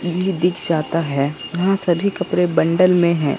दिख जाता हैं। यहां सभी कपड़े बंडल में हैं।